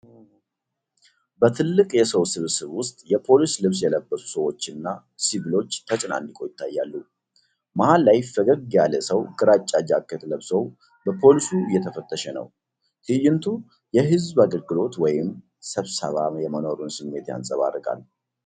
በትልቅ የሰው ስብስብ ውስጥ የፖሊስ ልብስ የለበሱ ሰዎችና ሲቪሎች ተጨናንቀው ይታያሉ። መሃል ላይ ፈገግ ያለ ሰው ግራጫ ጃኬት ለብሶ በፖልሱ እየተፈተሸ ነው። ትዕይንቱ የህዝብ አገልግሎት ወይም ስብሰባ የመኖሩን ስሜት ያንፀባርቃል።